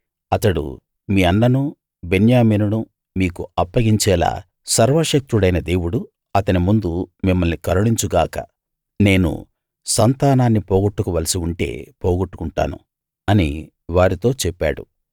అతడు మీ అన్ననూ బెన్యామీనును మీకు అప్పగించేలా సర్వశక్తుడైన దేవుడు అతని ముందు మిమ్మల్ని కరుణించు గాక నేను సంతానాన్ని పోగొట్టుకోవలసి ఉంటే పోగొట్టుకుంటాను అని వారితో చెప్పాడు